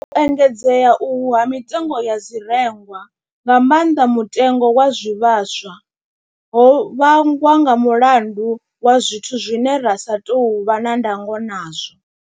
U engedzea uhu ha mitengo ya zwirengwa, nga maanḓa mutengo wa zwivhaswa, ho vhangwa nga mulandu wa zwithu zwine ra sa tou vha na ndango khazwo.